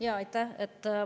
Jaa, aitäh!